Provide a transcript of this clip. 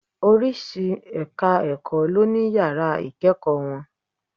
Oríṣi ẹ̀ka ẹ̀kọ́ ló ní Yàrá ìkẹ́ẹ̀kọ̀ wọn.